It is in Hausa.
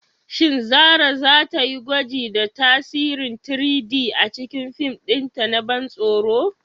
Shin Zarah za ta yi gwaji da tasirin 3-D a cikin fim ɗinta na ban tsoro?